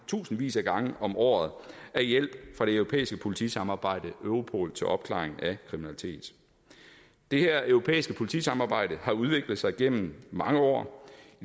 tusindvis af gange om året af hjælp fra det europæiske politisamarbejde europol til opklaring af kriminalitet det her europæiske politisamarbejde har udviklet sig gennem mange år